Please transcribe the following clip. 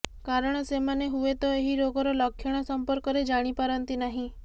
କାରଣ ସେମାନେ ହୁଏତ ଏହି ରୋଗର ଲକ୍ଷଣ ସଂପର୍କରେ ଜାଣିପାରନ୍ତି ନାହିଁ